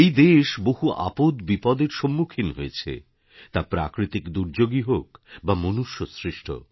এই দেশ বহু আপদ বিপদের সম্মুখীন হয়েছে তা প্রাকৃতিক দুর্যোগই হোক বা মনুষ্য সৃষ্ট